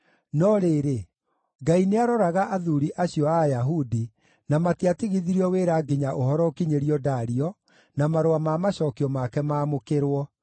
No rĩrĩ, Ngai nĩaroraga athuuri acio a Ayahudi, na matiatigithirio wĩra nginya ũhoro ũkinyĩrio Dario, na marũa ma macookio make maamũkĩrwo.